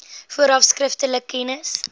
vooraf skriftelik kennis